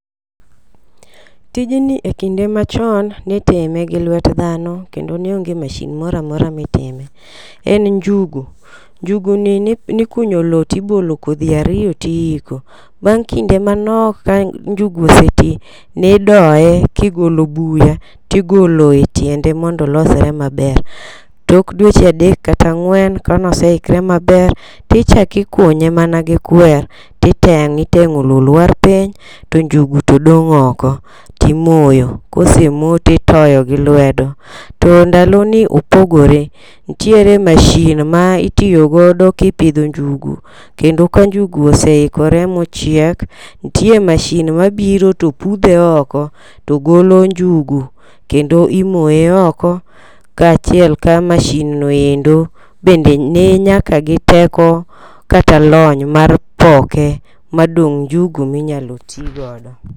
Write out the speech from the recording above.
Tijni e kinde machon nitime gi lwet dhano kendo ne onge mashin moromora mitime. En njugu, njugu ni ji nikunyo lowo tibolo kodhi ariyo tiiko. Bang' kinde manok ka njugu oseti nidoye kigolo buya tigolo e tiende mondo olosre maber. Tok dweche adek kata angw'en kanoseikre maber tichaki kunye mana gi kwer titeng'i teng'o lowo lwar piny to njugu dong' oko timoyo kosemoo titoyo gi lwedo. To ndalo ni opogore ntiere mashin maitiyo godo kipidho njugu kendo ka njugu oseikore mochiek, ntie mashin mabiro to pudhe oko to golo njugu kendo imoye oko kaachiel ka mashin no endo bende ni nyaka gi teko kata lony mar poke ma dong' njugu minyalo tii godo.